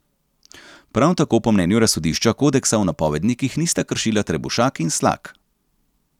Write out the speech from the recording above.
Prav tako po mnenju razsodišča kodeksa v napovednikih nista kršila Trebušak in Slak.